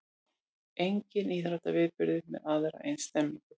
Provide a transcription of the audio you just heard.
Enginn íþróttaviðburður með aðra eins stemningu